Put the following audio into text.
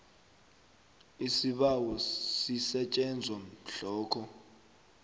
isibawo sisetjenzwa mhlokho